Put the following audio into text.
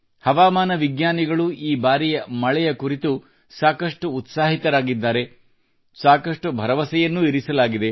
ಹವಾಮಾನ ವಿಜ್ಞಾನಿಗಳೂ ಈ ಬಾರಿಯ ಮಳೆಯ ಕುರಿತು ಸಾಕಷ್ಟು ಉತ್ಸಾಹಿತರಾಗಿದ್ದಾರೆ ಸಾಕಷ್ಟು ಭರವಸೆಯನ್ನೂ ಇರಿಸಲಾಗಿದೆ